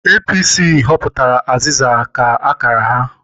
APC họpụtara aziza ka akara ha.